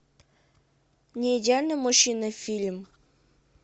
не идеальный мужчина фильм